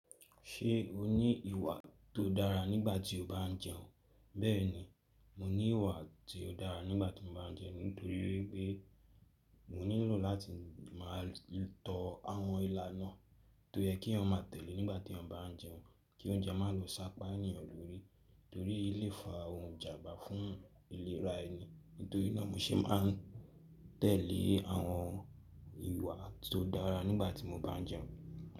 Ṣé o ní ìwà tó dára nígbà tí o bá ń jẹun? Bẹ́ẹ̀ni, mo ní ìwà tí ó dára nígbà tí mo bá ń jẹun nítorí pé mo nílò láti má a tó àwọn ila náà tó yẹ kí wọ́n má tẹ̀lé nígbà tí ọba ń jẹun kí oúnjẹ má lọ sápá ènìyàn lórí torí lé fa ohun ìjànbá fún ìlera ẹni. Nítorí náà mo ṣe ma ń tẹ̀lé àwọn ìwà tó dára nígbà tí mo bá ń jẹun.